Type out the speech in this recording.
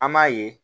An m'a ye